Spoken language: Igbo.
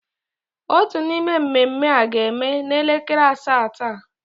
Otu n'ime mmemme a ga-eme n'elekere asaa taa.